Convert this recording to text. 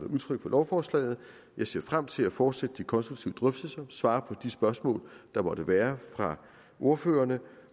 udtrykt for lovforslaget jeg ser frem til at fortsætte de konstruktive drøftelser og svare på de spørgsmål der måtte være fra ordførerne